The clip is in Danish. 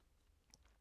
DR K